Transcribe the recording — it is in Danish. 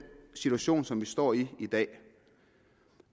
situation som vi står i i dag